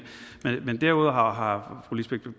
derudover har har fru lisbeth